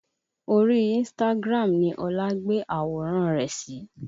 Orí Instagram ni Ọlá gbé àwòrán rẹ̀ sí